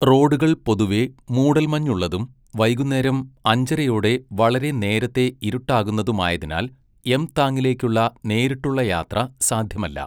റോഡുകൾ പൊതുവെ മൂടൽമഞ്ഞുള്ളതും വൈകുന്നേരം അഞ്ചരയോടെ വളരെ നേരത്തെ ഇരുട്ടാകുന്നതുമായതിനാൽ യംതാങ്ങിലേക്കുള്ള നേരിട്ടുള്ള യാത്ര സാധ്യമല്ല.